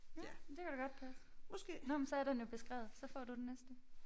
Ja men det kunne da godt passe. Nåh men så er den jo beskrevet så får du den næste